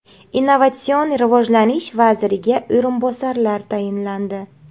Innovatsion rivojlanish vaziriga o‘rinbosarlar tayinlandi.